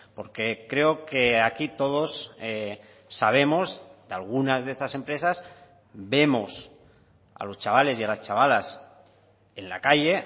porque creo que aquí todos sabemos de algunas de estas empresas vemos a los chavales y a las chavalas en la calle